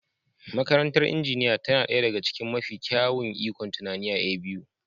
Makarantar injiniya tana ɗaya daga cikin mafi kyawun ikon tunani a A.B.U.